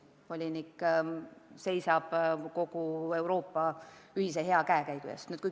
Volinik seisab kogu Euroopa ühise hea käekäigu eest.